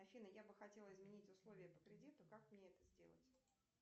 афина я бы хотела изменить условия по кредиту как мне это сделать